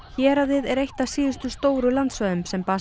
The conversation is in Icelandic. héraðið er eitt af síðustu stóru landsvæðum sem